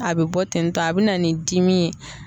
A bɛ bɔ tentɔ a bɛ na ni dimi ye.